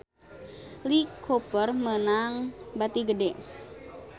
Lee Cooper meunang bati gede